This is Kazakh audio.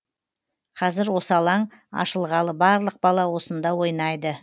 қазір осы алаң ашылғалы барлық бала осында ойнайды